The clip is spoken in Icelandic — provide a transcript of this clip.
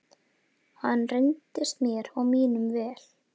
Hann reyndist mér og mínum vel.